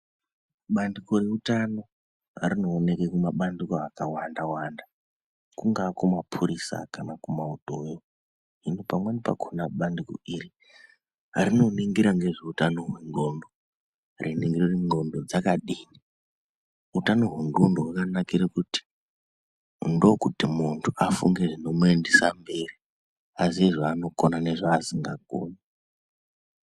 Bandiko reutano rinooneka kumabandiko akawanda-wanda, Kungaa kumapurisa kana kumautoyo. Hino pamweni pakona bandiko iri rinoningira ngezveutano hwendxondo. Reiningira kuti ndxondo dzakadini utano hwendxondo hwakanakire kuti ndokuti muntu afunge zvinomuendesa mberi, aziye zvanogona nezvaasingagoni.